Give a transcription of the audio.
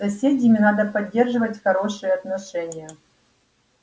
с соседями надо поддерживать хорошие отношения